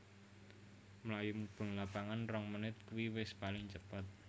Mlayu mubeng lapangan rong menit kui wis paling cepet